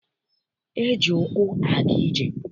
E ji ụkwụ aga ije.